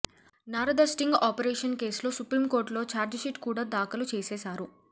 Narada sting operation కేసులో సుప్రీంకోర్టులో chargesheet కూడా దాఖలు చేసేశారు